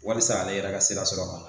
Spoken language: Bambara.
Wasa ale yɛrɛ ka sira sɔrɔ